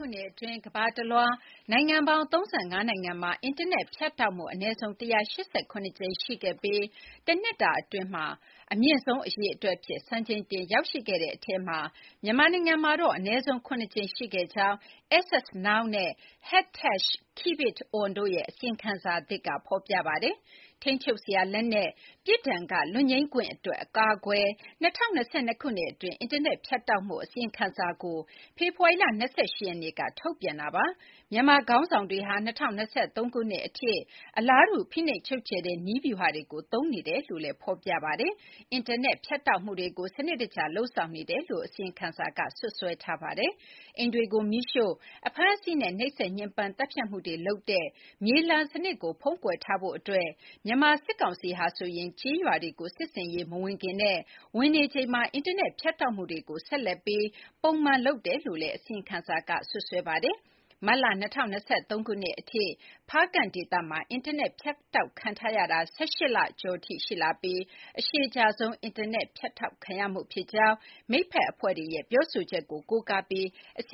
ုနှစ်အတွင်း ကမ္ဘာတလွှား နိုင်ငံပေါင်း ၃၅ နိုင်ငံမှာ အင်တာနက်ဖြတ်တောက်မှု အနည်းဆုံး ၁၈၇ ကြိမ်ရှိခဲ့ပြီး တနှစ်အတွင်း အမြင့်ဆုံးအရေအတွက်အဖြစ် စံချိန်တင်ရောက်ရှိခဲ့တဲ့ထဲမှာ မြန်မာနိုင်ငံမှာတော့ အနည်းဆုံး ၇ ကြိမ်ရှိခဲ့ကြောင်း Access Now နဲ့ #KeepItOn တို့ရဲ့ အစီရင်ခံစာသစ်က ဖော်ပြပါတယ်။ ထိန်းချုပ်စရာလက်နက်၊ ပြစ်ဒဏ်က လွတ်ငြိမ်းခွင့်အတွက် အကာအကွယ်၊ ၂၀၂၂ ခုနှစ် အတွင်း အင်တာနက် ဖြတ်တောက်မှု အစီရင်ခံစာကို ဖေဖော်ဝါရီလ ၂၈ ရက်နေ့က ထုတ်ပြန်တာ ဖြစ်ပါတယ်။ မြန်မာခေါင်းဆောင်တွေဟာ ၂၀၂၃ ခုနှစ်အထိ အလားတူ ဖိနှိပ်ချုပ်ချယ်တဲ့ နည်းဗျူဟာတွေကို သုံးနေကြတယ်လို့လည်းဖော်ပြပါတယ်။ အင်တာနက် ဖြတ်တောက်မှုတွေကို စနစ်တကျလုပ်ဆောင်နေတယ်လို့လည်း အစီရင်ခံစာက စွပ်စွဲထားပါတယ်။ အိမ်တွေကို မီးရှို့၊ အဖမ်းအဆီးနဲ့ နှိပ်စက်ညှဉ်းပန်း သတ်ဖြတ်မှုတွေလုပ်တဲ့ မြေလှန်စနစ်ကို ဖုံးကွယ်ထားဖို့အတွက် မြန်မာစစ်ကောင်စီဟာ ကျေးရွာတွေကို စစ်ဆင်ရေးမဝင်ခင်မှာနဲ့ ဝင်နေချိန်မှာ အင်တာနက်ဖြတ်တောက်မှုတွေကို ဆက်လက်ပြီး ပုံမှန်လုပ်နေတယ်လို့လည်း အစီရင်ခံစာက စွပ်စွဲပါတယ်။ မတ်လ ၂၀၂၃ ခုနှစ်အထိ ဖားကန့်ဒေသမှာ အင်တာနက် ဖြတ်တောက်ခံနေရတာ ၁၈ လကျော်ကြာထိ ရှိလာပြီး အရှည်ကြာဆုံး အင်တာနက် ဖြတ်တောက်ခံရမှုဖြစ်ကြောင်း မိတ်ဖက်အဖွဲ့တွေရဲ့ ပြောဆိုချက်ကို ကိုးကားပြီး အစ